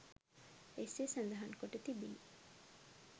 එසේ සඳහන් කොට තිබිණි